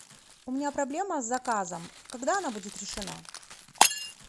у меня проблема с заказом когда она будет решена